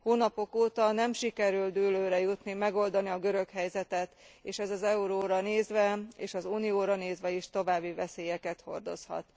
Hónapok óta nem sikerült dűlőre jutni, megoldani a görög helyzetet, és ez az euróra nézve és az Unióra nézve is további veszélyeket hordozhat.